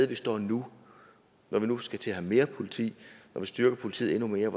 vi står nu når vi nu skal til at have mere politi og vil styrke politiet endnu mere